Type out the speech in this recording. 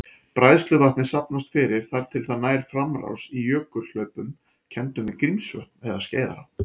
Bræðsluvatnið safnast fyrir þar til það nær framrás í jökulhlaupum kenndum við Grímsvötn eða Skeiðará.